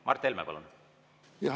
Mart Helme, palun!